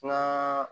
Kuma